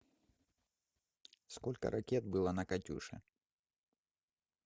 сколько ракет было на катюше